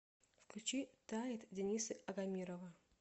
включи тает дениса агамирова